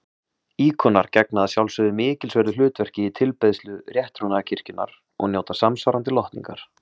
Íkonar gegna að sjálfsögðu mikilsverðu hlutverki í tilbeiðslu rétttrúnaðarkirkjunnar og njóta samsvarandi lotningar.